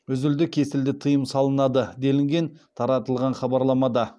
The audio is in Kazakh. үзілді кесілді тыйым салынады делінген таратылған хабарламада